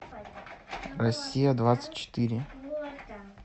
россия двадцать четыре